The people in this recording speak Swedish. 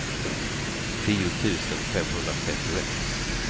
tio tusen femhundratrettioett